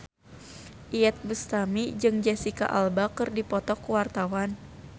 Iyeth Bustami jeung Jesicca Alba keur dipoto ku wartawan